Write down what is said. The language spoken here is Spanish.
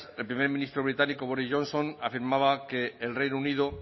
el primer ministro británico boris johnson afirmaba que el reino unido